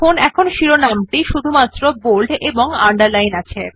এখন শিরোনাম টি বোল্ড এবং underline ও আছে